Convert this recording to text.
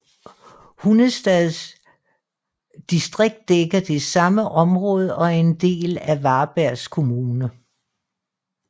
Hunnestads distrikt dækker det samme område og er en del af Varbergs kommun